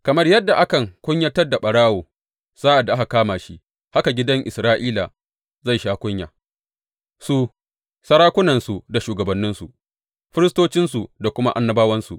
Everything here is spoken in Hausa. Kamar yadda akan kunyatar da ɓarawo sa’ad da aka kama shi, haka gidan Isra’ila zai sha kunya, su, sarakunansu da shugabanninsu, firistocinsu da kuma annabawansu.